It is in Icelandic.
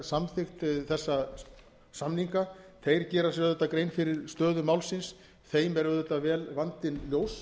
samþykkt þessa samninga þeir gera sér auðvitað grein fyrir stöðu málsins þeim er vandinn auðvitað vel ljós